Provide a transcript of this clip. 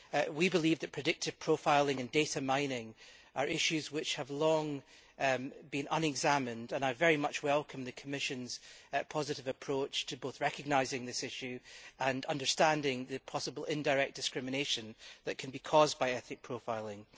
We believe that predictive profiling and data mining are issues which have long been unexamined and I very much welcome the Commission's positive approach to both recognising this issue and understanding the possible indirect discrimination that can be caused by ethnic profiling.